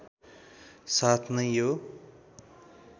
साथ नै यो